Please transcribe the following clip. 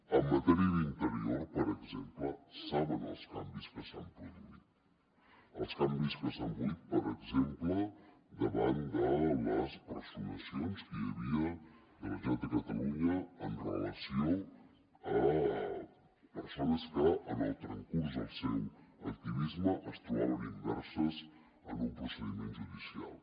en matèria d’interior per exemple saben els canvis que s’han produït els canvis que s’han produït per exemple davant de les personacions que hi havia de la generalitat de catalunya amb relació a persones que en el transcurs del seu activisme es trobaven immerses en un procediment judicial